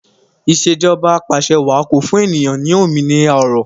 Ìṣèjọba Apàṣẹwàá ko fún ènìyàn ní òmìnira ọrọ